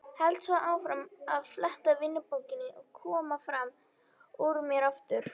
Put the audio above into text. Held svo áfram að fletta vinnudagbókinni og kominn fram úr mér aftur.